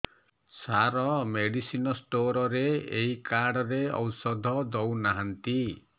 ସାର medicine store ରେ ଏଇ card ରେ ଔଷଧ ଦଉନାହାନ୍ତି